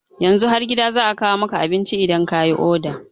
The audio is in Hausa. Yanzu har gida za a kawo maka abinci idan kayi oda